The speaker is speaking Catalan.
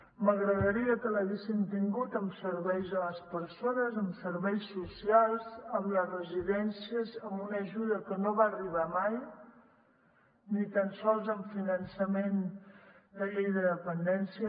m’agradaria que l’haguessin tingut amb serveis a les persones amb serveis socials amb les residències amb una ajuda que no va arribar mai ni tan sols amb finançament de llei de dependència